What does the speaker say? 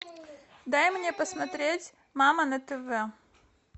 дай мне посмотреть мама на тв